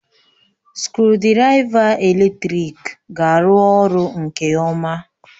Skrụdiraiva eletrik ga-arụ ọrụ nke ọma